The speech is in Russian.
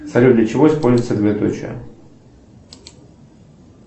салют для чего используется двоеточие